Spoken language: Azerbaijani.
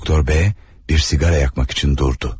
Doktor B, bir sigara yakmak için durdu.